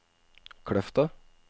Kløfta